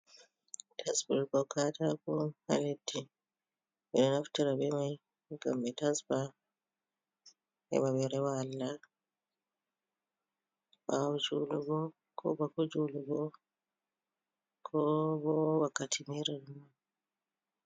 Tasburgol kaataako on haa leddi, ɓe ɗo naftira be may ngam ɓe tasba heɓa ɓe rewa Allah, ɓaawo juulugo, koo bako juulugo, koo bo wakkati meere nonnon.